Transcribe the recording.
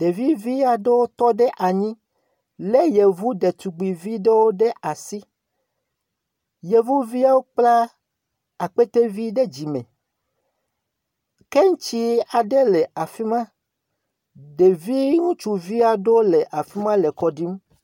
Ɖevi vi aɖewo tɔ ɖe anyi lé Yevu detugbivi ɖewo ɖe asi. Yevuviawo kpla akpete ɖe dzime. Keŋtsi aɖe le afi ma. Ɖevi ŋutsuvi aɖewo le afi ma le akɔ ɖim.